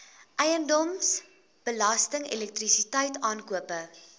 eiendomsbelasting elektrisiteit aankope